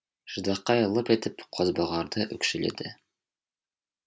ждақай лып етіп қозбағарды өкшеледі